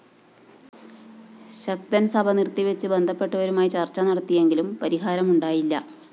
ശക്തന്‍ സഭ നിര്‍ത്തിവച്ച് ബന്ധപ്പെട്ടവരുമായി ചര്‍ച്ച നടത്തിയെങ്കിലും പരിഹാരമുണ്ടായില്ല